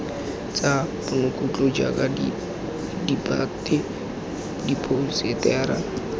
tsa ponokutlo jaaka ditphate diphousetara